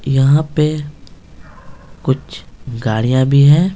यहां पे कुछ गाड़ियां भी हैं।